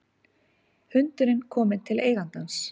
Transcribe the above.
Hundurinn kominn til eigandans